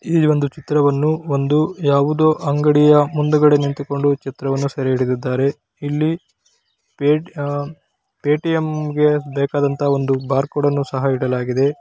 ಈ ಒಂದು ಚಿತ್ರವನ್ನು ಒಂದು ಯಾವುದೊ ಅಂಗಡಿಯ ಮುಂದೆಕಡೆ ನಿಂತುಕೊಂಡು ಚಿತ್ರವನ್ನು ಸಾರೆ ಇಡಿದಿದ್ದಾರೆ ಪೇ ಟಿಎಮ್ ಗೆ ಬೇಕಾದಂತ ಒಂದು ಬಾರ್ ಕೋಡ್ಅನ್ನು ಸಹ ಇಡಲಾಗಿದೆ.